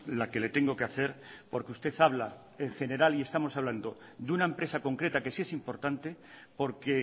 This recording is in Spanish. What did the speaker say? la que le tengo que hacer porque usted habla en general y estamos hablando de una empresa concreta que sí es importante porque